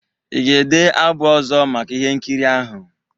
Ị ga-ede abụ ọzọ maka ihe nkiri ahụ?